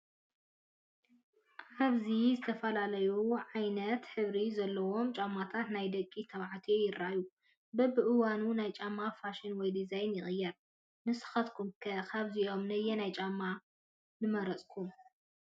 ኣብዚ ዝተፈላለዩ ዓይነት ሕብሪ ዘለዎም ጫማታት ናይ ደቂ ተባዕትዮ ይራኣዩ፡፡ በቢእዋኑ ናይ ጫማ ፋሽን ወይ ዲዛይን ይቕየር፡፡ ንስኻትኩም ከ ካብዚኦም ነየናይ ጫማ ንመረፅኩም?